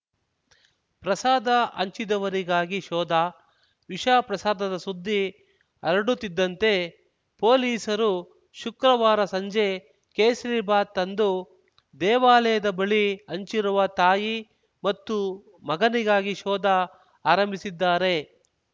ಪ್ರಸಾದ ಹಂಚಿದವರಿಗಾಗಿ ಶೋಧ ವಿಷಪ್ರಸಾದದ ಸುದ್ದಿ ಹರಡುತ್ತಿದ್ದಂತೆ ಪೊಲೀಸರು ಶುಕ್ರವಾರ ಸಂಜೆ ಕೇಸರೀಬಾತ್‌ ತಂದು ದೇವಾಲಯದ ಬಳಿ ಹಂಚಿರುವ ತಾಯಿ ಮತ್ತು ಮಗನಿಗಾಗಿ ಶೋಧ ಆರಂಭಿಸಿದ್ದಾರೆ